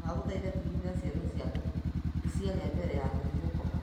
ndagũthaitha tigĩrĩra ciana ciaku ni cĩarĩa mbere ya gũthiĩ gũkoma.